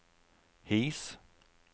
His